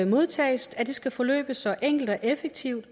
modtages skal forløbe så enkelt og effektivt